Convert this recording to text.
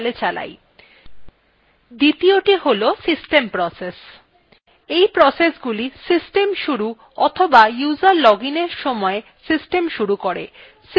দ্বিতীযটি হল system processes এই processesগুলি system শুরু অথবা user login এর সময় system শুরু করে